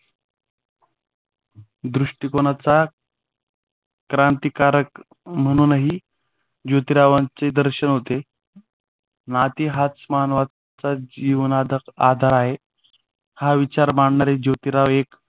दृष्टिकोनाचा क्रांतिकारक म्हणूनही जोतीरावांचे दर्शन होते. नीती हाच मानवी जीवनाचा आधार आहे. हा विचार मांडणारे जोतीराव एक